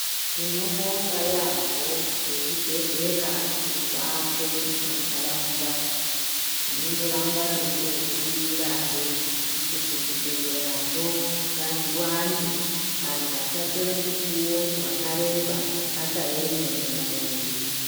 Tinobonga yambo vezvibhehlera zvirikuwakwe mumandaraunda tinongoramba teingokumbirahe kuti zvibhehlera zvongazviwande antu asatora mukuwo wakaremba akaeme mulaini.